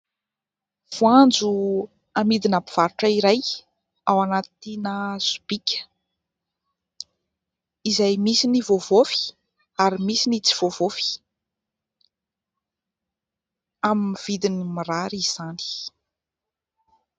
Voanjo amidina mpivarotra iray ao anatina sobika izay misy ny voavaofy ary misy ny tsy voavaofy, amin'ny vidiny mirary izany.